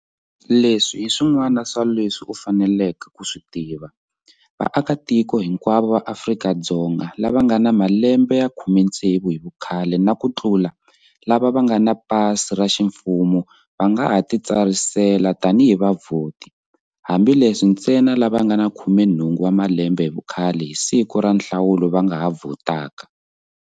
Leswi hi swin'wana swa leswi u faneleke ku swi tiva- Vaakatiko hinkwavo va Afri ka-Dzonga lava va nga na malembe ya 16 hi vukhale na kutlula lava va nga na pasi ra ximfumo va nga titsarisela tanihi vavhoti, hambileswi ntsena lava va nga na 18 wa malembe hi vukhale hi siku ra nhlawulo va nga ha vhotaka.